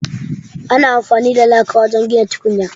Ana amfani da laka wajen gina tukunya.